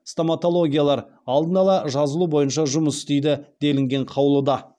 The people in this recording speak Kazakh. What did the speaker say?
стоматологиялар алдын ала жазылу бойынша жұмыс істейді делінген қаулыда